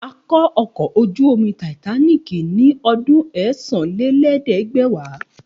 A kọ́ ọkọ̀ ojú-omi Titanic ní ọdún ẹ́sán-lé-ẹ̀ẹ́dẹ́gbẹ̀wá